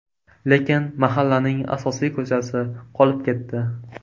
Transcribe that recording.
Lekin mahallaning asosiy ko‘chasi qolib ketdi.